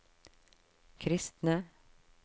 kristne